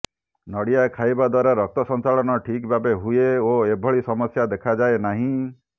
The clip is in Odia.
ନଡ଼ିଆ ଖାଇବା ଦ୍ୱାରା ରକ୍ତ ସଞ୍ଚାଳନ ଠିକ୍ ଭାବେ ହୁଏ ଓ ଏଭଳି ସମସ୍ୟା ଦେଖାଯାଏ ନାହିଁ